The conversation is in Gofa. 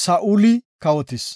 Saa7uli kawotis.